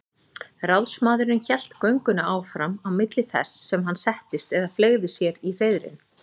Ráðsmaðurinn hélt göngunni áfram á milli þess sem hann settist eða fleygði sér í hreiðrin.